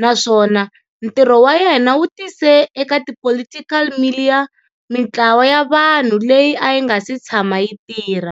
naswona ntirho wa yena wu tise eka ti political milieu mintlawa ya vanhu leyi ayi nga si tshama yi tirha.